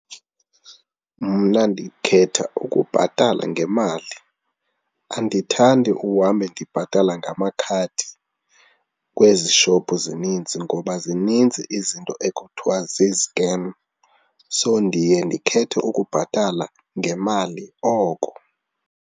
Mna ndikhetha ukubhatala ngemali. Andithandi uhambe ndibhatala ngamakhadi kwezi shophu zininzi ngoba zininzi izinto ekuthiwa zii-scam, so ndiye ndikhethe ukubhatala ngemali oko.